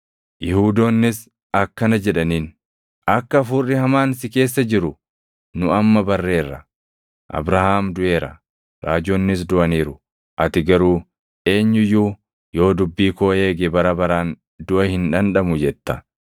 Yihuudoonnis akkana jedhaniin; “Akka hafuurri hamaan si keessa jiru nu amma barreerra. Abrahaam duʼeera; raajonnis duʼaniiru; ati garuu, ‘Eenyu iyyuu yoo dubbii koo eege bara baraan duʼa hin dhandhamu’ jetta.